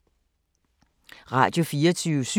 Radio24syv